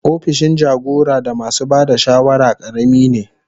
Opishin jagora da masu ba da shawara karami ne.